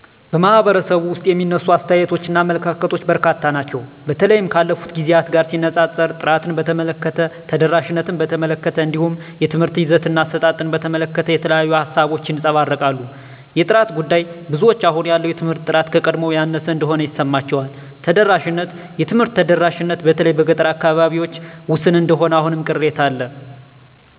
በኅብረተሰቡ ውስጥ የሚነሱ አስተያየቶችና አመለካከቶች በርካታ ናቸው። በተለይም ካለፉት ጊዜያት ጋር ሲነጻጸር፣ ጥራትን በተመለከተ፣ ተደራሽነትን በተመለከተ፣ እንዲሁም የትምህርት ይዘትና አሰጣጥን በተመለከተ የተለያዩ ሃሳቦች ይንጸባረቃሉ። የጥራት ጉዳይ -ብዙዎች አሁን ያለው የትምህርት ጥራት ከቀድሞው ያነሰ እንደሆነ ይሰማቸዋል። ተደራሽነት -የትምህርት ተደራሽነት በተለይ በገጠር አካባቢዎች ውስን እንደሆነ አሁንም ቅሬታ አለ